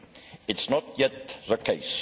It is not yet the case.